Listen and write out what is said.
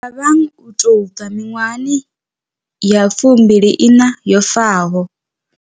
Thabang u tou bva miṅwahani ya fumbili iṋa yo faho.